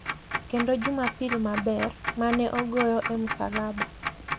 Kendo Jumapil Maber (mane ogoye e musalaba).